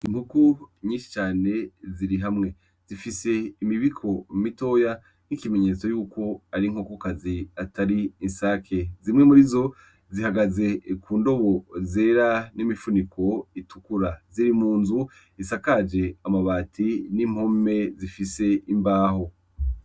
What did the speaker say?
Inkuku nyinshi cane ziri hamwe zifise imibiko umitoya nk'ikimenyetso yuko ari nkokukazi atari insake zimwe muri zo zihagaze ku ndobo zera n'imifuniko itukura ziri mu nzu isakaje amabati n'impome zifise imbaho.